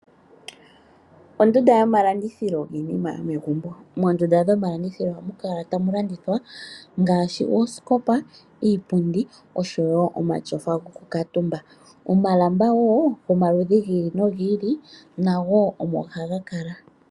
Ondunda yomalandithilo yiinima yomegumbo. Moondunda dhomalandithilo ohamukala tamulandithwa ngaashi oosikopa, iipundi oshowo omatyofa gokukaatumba. Omalamba wo gomaludhi gi ili nogi ili nago omo hagakala.